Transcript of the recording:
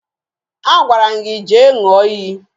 Agwara m gị jee ṅụọ iyi